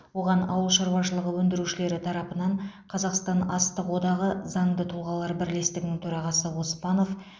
оған ауыл шаруашылығы өндірушілері тарапынан қазақстан астық одағы заңды тұлғалар бірлестігінің төрағасы оспанов